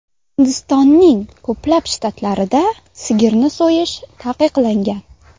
Hindistonning ko‘plab shtatlarida sigirni so‘yish taqiqlangan.